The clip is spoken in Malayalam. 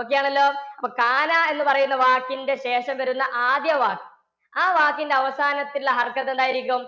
okay ആണല്ലോ? അപ്പൊ എന്നുപറയുന്ന വാക്കിന്റെ ശേഷം വരുന്ന ആദ്യ വാക്ക് ആ വാക്കിന്റെ അവസാനത്തില് എന്തായിരിക്കും?